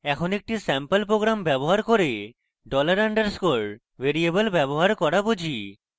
এখন একটি sample program ব্যবহার করে $_ dollar underscore ভ্যারিয়েবল ব্যবহার করা বুঝি